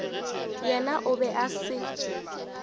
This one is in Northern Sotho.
yena o be a se